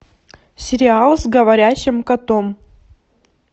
сериал с говорящим котом